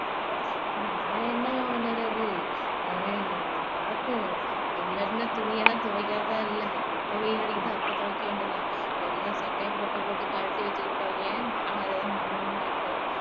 நான் என்னங்க பண்ணுறது பாப்போம் இல்லன்னா துணியெல்லாம் துவைக்குறதா இல்ல எப்போ வெயில் அடிக்குதோ அப்போ துவைக்க வேண்டியது தான் எல்லாம் சட்டையை போட்டு போட்டு கழட்டி வச்சுக்குடுதாங்க நானும் அதே தான் பண்ணணும்னு நினைக்குறேன்